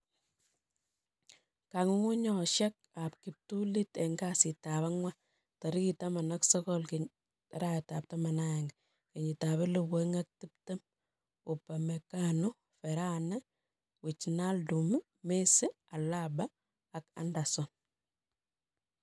Kong'ung'unyosiek ab kiptulit en kasitab ang'wan tarigit 19/11/2020: Upamecano, Varane, Wijnaldum, Messi, Alaba, Anderson